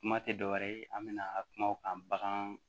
Kuma tɛ dɔ wɛrɛ ye an bɛ na kuma o kan bagan